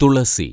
തുളസി